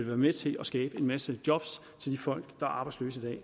være med til at skabe en masse job til de folk der er arbejdsløse i